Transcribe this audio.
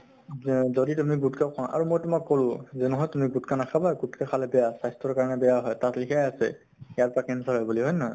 যে যদি তুমি গুত্খা খোৱা আৰু মই তোমাক কʼলো যে নহয় তুমি গুত্খা নাখাবা । গুত্খা খালে বেয়া, স্বাস্থ্য়ৰ কাৰণে বেয়া হয় । তাত লিখায়ে আছে ইয়াৰ পৰা cancer হয় বুলি, হয় ন হয় ?